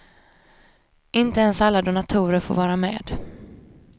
Inte ens alla donatorer får vara med.